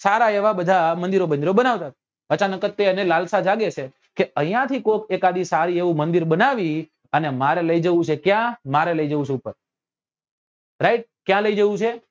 સારા એવા બધા મંદિરો બ્ન્દીરો બનાવે છે અચાનક જ એને લાલસા જાગે છે કે અહિયાં થી કોક એકાદી સારી એવું મંદિર બનાવી મારે લઇ જવું છે ક્યા મારે લઇ જવું છે ઉપર right ક્યા લઇ જવું છે